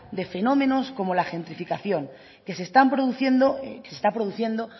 de fenómenos como la gentrificación que se está produciendo